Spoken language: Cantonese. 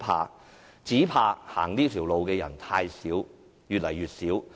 我們只怕走這條路的人太少，而且越來越少。